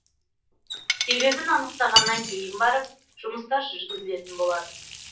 себебін анықтағаннан кейін барып жұмыстар жүргізілетін болады